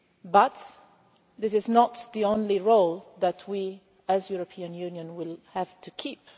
But this is not the only role that we as the European Union will have to keep.